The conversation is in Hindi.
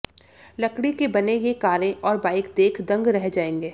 लकड़ी के बने ये कारें और बाइक देख दंग रह जायेंगे